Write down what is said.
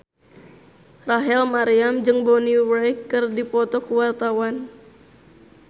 Rachel Maryam jeung Bonnie Wright keur dipoto ku wartawan